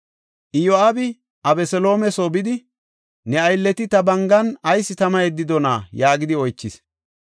Iyo7aabi Abeseloome soo bidi, “Ne aylleti ta bangan ayis tama yeddidonaa?” yaagidi oychis.